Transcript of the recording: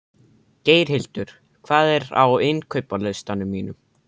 Geirhildur, hvað er á innkaupalistanum mínum?